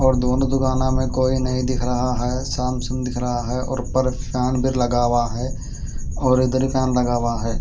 और दोनों दुकानों मैं कोई नई दिख रह हैं सामसूँन दिख रहा हैं और उप्पार फन भी लगा हुआ हैं और उधर फन लगा हुआ है।